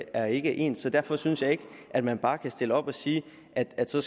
er ikke ens og derfor synes jeg ikke at man bare kan stille sig op og sige at man så